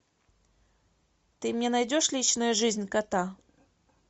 ты мне найдешь личная жизнь кота